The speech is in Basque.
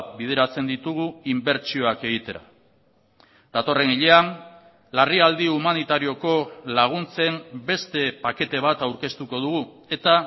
bideratzen ditugu inbertsioak egitera datorren hilean larrialdi humanitarioko laguntzen beste pakete bat aurkeztuko dugu eta